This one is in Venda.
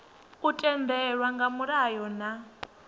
u tendelwa nga mulayo na